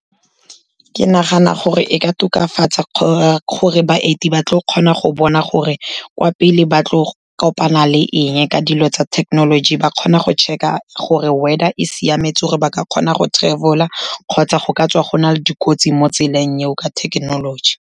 Ke nagana gore e ka tokafatsa gore baeti ba tlo kgona go bona gore kwa pele ba tlo kopana le eng ka dilo tsa thekenoloji, ba kgona go check-a gore weather e siametse gore ba ka kgona go travel-a kgotsa go ka tswa go na le dikotsi mo tseleng eo, ka thekenoloji.